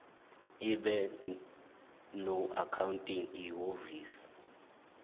ibe noaccounting ihhovisir